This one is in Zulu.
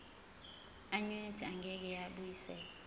annuity engeke yabuyiselwa